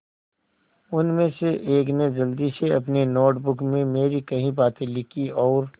उनमें से एक ने जल्दी से अपनी नोट बुक में मेरी कही बातें लिखीं और